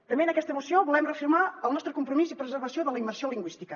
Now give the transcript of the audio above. també en aquesta moció volem reafirmar el nostre compromís i preservació de la immersió lingüística